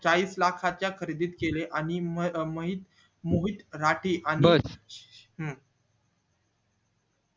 चाळीस लाखा च्या खरेदीद केले आणि महित मोहित राठी आणि हम्म